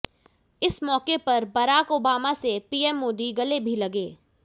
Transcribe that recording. इस मौके पर बराक ओबामा से पीएम मोदी गले भी लगे